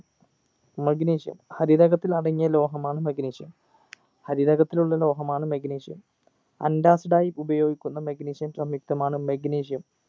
magnesium ഹരിതകത്തിൽ അടങ്ങിയ ലോഹമാണ് magnesium ഹരിതകത്തിലുള്ള ലോഹമാണ് magnesium antacid ആയി ഉപയോഗിക്കുന്ന magnesium സംയുക്തമാണ് magnesium